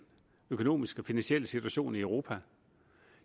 økonomiske og finansielle situation i europa